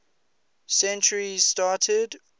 century started